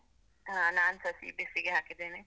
ಹಾ, ನಾನ್ಸ CBSE ಗೆ ಹಾಕಿದ್ದೇನೆ.